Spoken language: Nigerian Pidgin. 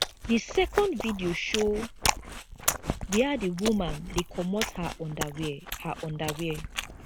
di second video show wia di woman dey comot her underwear her underwear